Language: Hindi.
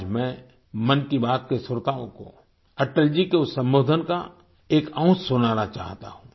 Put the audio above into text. आज मैं मन की बात के श्रोताओं को अटल जी के उस संबोधन का एक अंश सुनाना चाहता हूँ